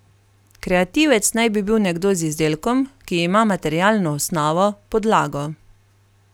Kreativec naj bi bil nekdo z izdelkom, ki ima materialno osnovo, podlago.